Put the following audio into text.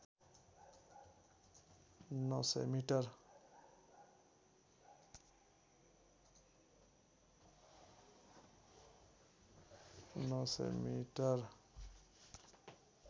नौ सय मिटर